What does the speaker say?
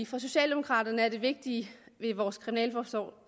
for socialdemokraterne er det vigtige ved vores kriminalforsorg